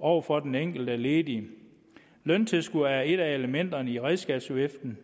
over for den enkelte ledige løntilskud er et af elementerne i redskabsviften